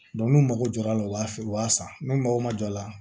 n'u mago jɔra a la u b'a feere u b'a san n'u mago ma jɔ a la